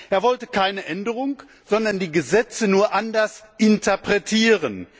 Er wollte keine Änderung, sondern die Gesetze nur anders interpretieren.